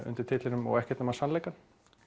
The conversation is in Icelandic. undir titlinum og ekkert nema sannleikann